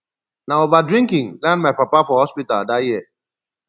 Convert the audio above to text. na over drinking land my papa for hospital dat year